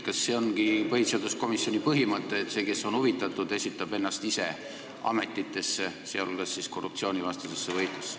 Kas see ongi põhiseaduskomisjoni põhimõte, et see, kes on huvitatud, esitab ennast ise ametisse, sh korruptsioonivastasesse komisjoni?